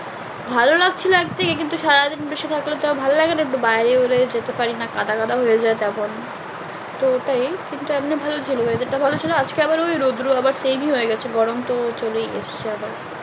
ভালো লাগছিলো এক দিকে কিন্তু সারাদিন বৃষ্টি থাকলে তো আর ভালো লাগে না একটু বাইরে হোলে যেতে পারি না কাদা কাদা হয়ে যায় তখন তো ওটাই কিন্তু এমনি ভালো ছিল weather টা ভালো ছিল আজকে আবার ওই রোদ্রু আবার তেজি হয়ে গেছে গরম তো চলেই এসছে আবার।